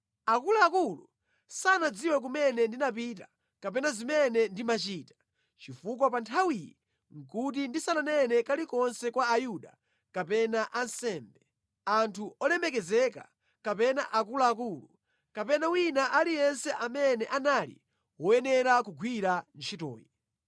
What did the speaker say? Akuluakulu sanadziwe kumene ndinapita kapena zimene ndimachita, chifukwa pa nthawiyi nʼkuti ndisananene kalikonse kwa Ayuda kapena ansembe, anthu olemekezeka kapena akuluakulu, kapena wina aliyense amene anali woyenera kugwira ntchitoyi.